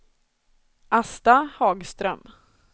Asta Hagström